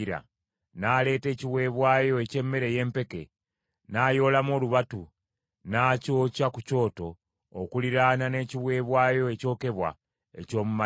N’aleeta ekiweebwayo eky’emmere ey’empeke, n’ayoolamu olubatu, n’akyokya ku kyoto okuliraana n’ekiweebwayo ekyokebwa eky’omu makya.